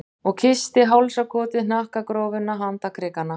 Og kyssti hálsakotið, hnakkagrófina, handarkrikana.